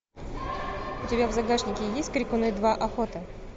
у тебя в загашнике есть крикуны два охота